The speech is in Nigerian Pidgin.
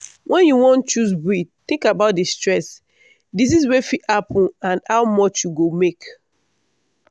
when you wan choose breed think about the stress disease wey fit happen and how much you go make.